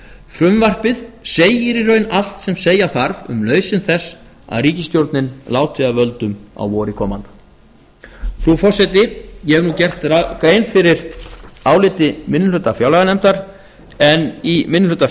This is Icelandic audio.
frumvarpið segir í raun allt sem segja þarf um nauðsyn þess að ríkisstjórnin láti af völdum á vori komanda frú forseti ég hef nú gert grein fyrir áliti minni hluta fjárlaganefndar en í minni hluta